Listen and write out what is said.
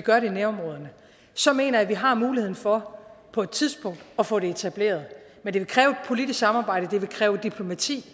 gør det i nærområderne så mener jeg at vi har muligheden for på et tidspunkt at få det etableret men det vil kræve politisk samarbejde og det vil kræve diplomati